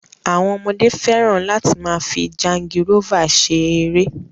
Àwọn ọmọdé fẹràn láti máa fi jangirọ́fà ṣe ẹrẹ́